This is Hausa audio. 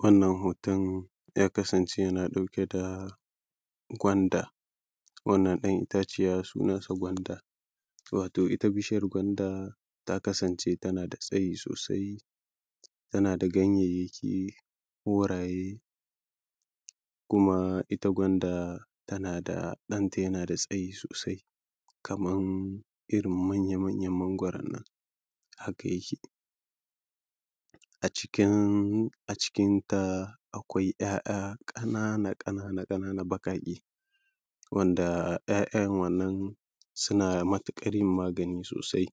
wannan hoton ya kasance yana ɗauke da gwanda wannan ɗan itaciya sunansa gwanda wato ita bishiyar gwanda ta kasance tana da tsayi sosai tana da ganyayyaki koraye kuma ita gwanda tana da ɗanta yana da tsayi sosai kaman irin manya manyan mangwaron nan haka yake a cikin a cikinta akwai ‘ya’ya ƙanana ƙanana ƙanana ƙanana baƙaƙe wanda ‘ya’yan wannan suna matuƙar yin magani sosai